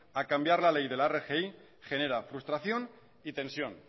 a cambiar la ley de la rgi genera frustración y tensión